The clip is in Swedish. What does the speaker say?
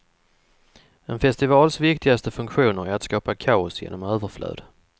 En festivals viktigaste funktion är att skapa kaos genom överflöd.